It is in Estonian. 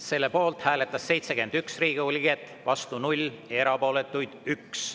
Selle poolt hääletas 71 Riigikogu liiget, vastu 0, erapooletuid on 1.